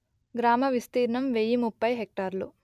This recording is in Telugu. గ్రామ విస్తీర్ణం వెయ్యి ముప్పై హెక్టారులు